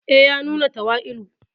E, ya nuna tawali'u.